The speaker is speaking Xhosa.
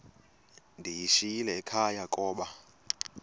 ndiyishiyile ekhaya koba